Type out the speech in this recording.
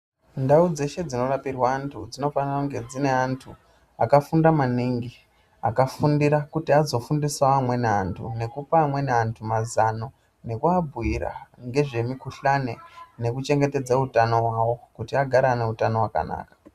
Ndau dzeshe dzinorapirwa antu dzinofanira kunge dzine vandu vakafunda maningi akafundira kuti azofundisa amweni antu nekupa amweni mazano nekuabhira ngezve nukuhlani nekuchengedze utano hwavo kuti agare aneutano wakanaka.